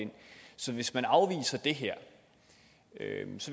så hvis man afviser det her